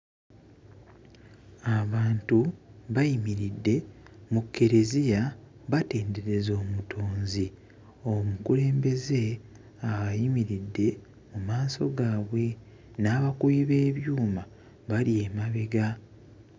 Abantu bayimiridde mu kkereziya batendereza Omutonzi. Omukulembeze ayimiridde mu maaso gaabwe, n'abakubi b'ebyuma bali emabega.